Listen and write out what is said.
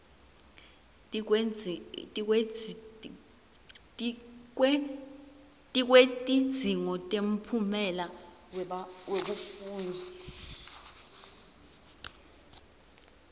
tikwetidzingo temphumela wekufundza